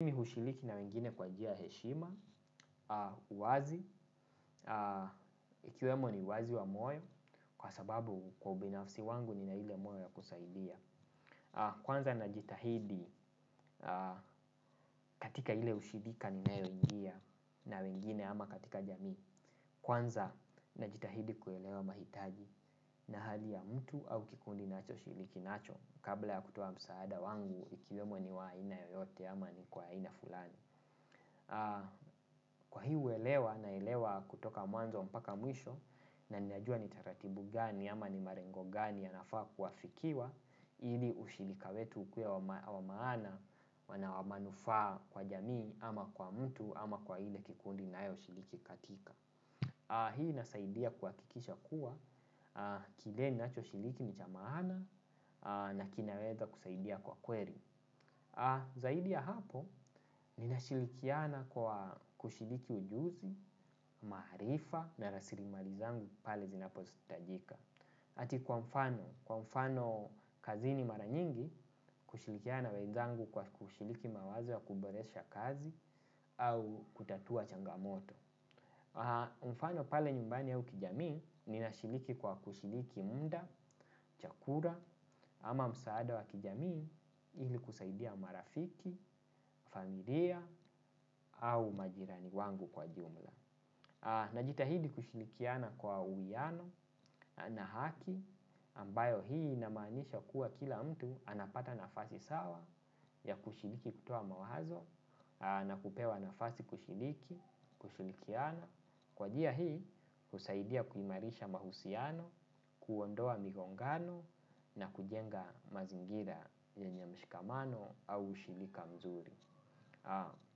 Mimi hushiriki na wengine kwa njia ya heshima, uwazi, ikiwemo ni uwazi wa moyo kwa sababu kwa ubinafsi wangu nina ile moyo ya kusaidia. Kwanza najitahidi katika ile ushirika ninayo ingia na wengine ama katika jamii. Kwanza najitahidi kuelewa mahitaji na hali ya mtu au kikundi ninacho shiriki nacho kabla ya kutoa msaada wangu ikiwemo ni wa haina yoyote ama ni kwa haina fulani. Kwa hii uelewa naelewa kutoka mwanzo mpaka mwisho na ninajua ni taratibu gani ama ni malengo gani yanafaa kuafikiwa. Ili ushirika wetu ukuwe wa maana na wa manufaa kwa jamii ama kwa mtu ama kwa ile kikundi ninayo shiriki katika. Hii inasaidia kuhakikisha kuwa kile ninacho shiriki ni cha maana na kinaweza kusaidia kwa kweli. Zaidi ya hapo, ninashirikiana kwa kushiriki ujuzi, maarifa na rasirimali zangu pale zinapohitajika. Ati kwa mfano, kwa mfano kazini mara nyingi, kushirikiana na wezangu kwa kushiriki mawazo ya kuboresha kazi au kutatua changamoto. Mfano pale nyumbani ya au kijamii ninashiriki kwa kushiriki muda, chakula ama msaada wa kijamii ili kusaidia marafiki, familia au majirani wangu kwa jumla. Najitahidi kushirikiana kwa uwiano na haki ambayo hii inamaanisha kuwa kila mtu anapata nafasi sawa ya kushiriki kutoa mawazo na kupewa nafasi kushiriki, kushirikiana. Kwa njia hii, husaidia kuimarisha mahusiano, kuondoa migongano na kujenga mazingira yenye mshikamano au ushirika mzuri.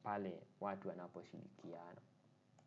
Pale watu wanapo shirikiana.